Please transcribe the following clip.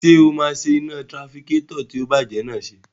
Ṣé o máa ṣe iná tirafikétọ̀ tó ti bàjẹ́ náà ṣe?